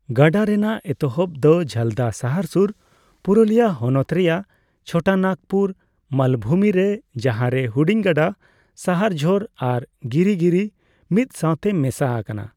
ᱜᱟᱰᱟ ᱨᱮᱱᱟᱜ ᱮᱛᱚᱦᱚᱵ ᱫᱚ ᱡᱷᱟᱞᱫᱟ ᱥᱟᱦᱟᱨ ᱥᱩᱨ, ᱯᱩᱨᱩᱞᱤᱭᱟᱹ ᱦᱚᱱᱚᱛ ᱨᱮᱱᱟᱜ ᱪᱷᱳᱴᱚᱱᱟᱜᱽᱯᱩᱨ ᱢᱟᱞᱵᱷᱩᱢᱤ ᱨᱮ, ᱡᱟᱦᱟᱸᱨᱮ ᱦᱩᱰᱤᱧ ᱜᱟᱰᱟ ᱥᱟᱦᱟᱨᱡᱷᱳᱨ ᱟᱨ ᱜᱤᱨᱤᱜᱤᱨᱤ ᱢᱤᱫ ᱥᱟᱣᱛᱮ ᱢᱮᱥᱟ ᱟᱠᱟᱱᱟ ᱾